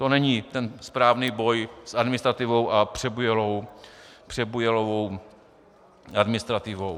To není ten správný boj s administrativou a přebujelou administrativou.